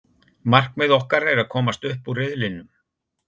Markmiðið okkar er að komast upp úr riðlinum.